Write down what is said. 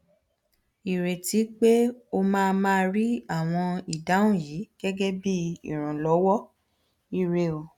ireti pe o ma ma ri awọn idahun yi gegebi iranlọwọ ire o